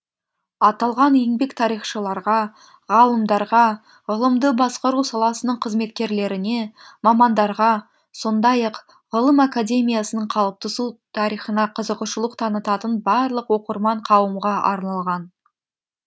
аталған еңбек тарихшыларға ғалымдарға ғылымды басқару саласының қызметкерлеріне мамандарға сондай ақ ғылым академиясының қалыптасу тарихына қызығушылық танытатын барлық оқырман қауымға арналған